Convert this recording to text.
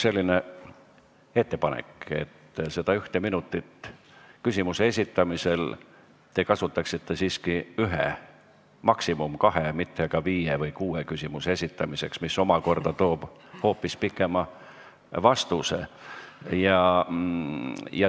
Mul on ettepanek, et küsimuse esitamisel te kasutaksite seda ühte minutit siiski ühe, maksimum kahe, mitte aga viie või kuue küsimuse esitamiseks, mis omakorda toob kaasa pikema vastuse.